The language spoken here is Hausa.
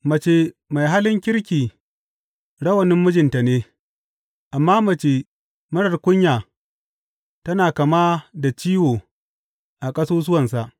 Mace mai halin kirki rawanin mijinta ne, amma mace marar kunya tana kama da ciwo a ƙasusuwansa.